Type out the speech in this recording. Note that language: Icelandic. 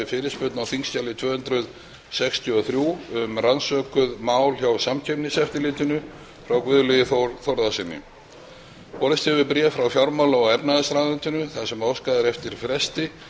fyrirspurn á þingskjali tvö hundruð sextíu og þrjú um rannsökuð mál hjá samkeppniseftirlitinu frá guðlaugi þór þórðarsyni borist hefur bréf frá fjármála og efnahagsráðuneytinu þar sem óskað er eftir fresti